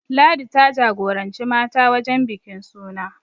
Ladi ta jagoranci mata wajen bikin suna